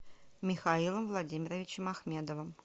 михаилом владимировичем ахмедовым